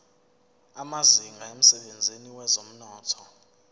amazinga emsebenzini wezomnotho